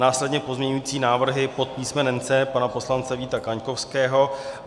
Následně pozměňující návrhy pod písmenem C pana poslance Víta Kaňkovského.